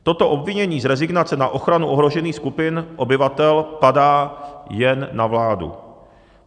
Toto obvinění z rezignace na ochranu ohrožených skupin obyvatel padá jen na vládu.